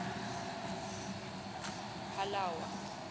halawa